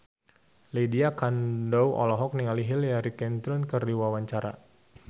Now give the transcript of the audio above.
Lydia Kandou olohok ningali Hillary Clinton keur diwawancara